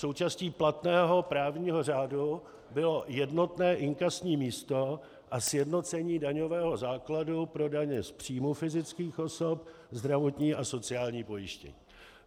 Součástí platného právního řádu bylo jednotné inkasní místo a sjednocení daňového základu pro daně z příjmů fyzických osob, zdravotní a sociální pojištění.